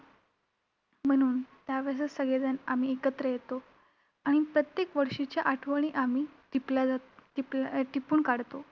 म्हणून त्यावेळेसच सगळेजण आम्ही एकत्र येतो आणि प्रत्येक वर्षीच्या आठवणी आम्ही टिपल्या जात~ टीप~ टिपून काढतो.